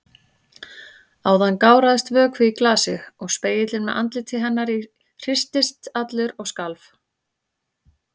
Áðan gáraðist vökvi í glasi og spegillinn með andliti hennar í hristist allur og skalf.